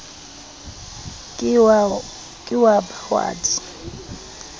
ke wa ba wa di